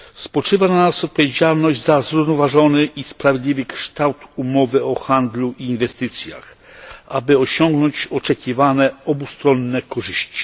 Spoczywa na nas odpowiedzialność za zrównoważony i sprawiedliwy kształt umowy o handlu i inwestycjach, aby osiągnąć oczekiwane obustronne korzyści.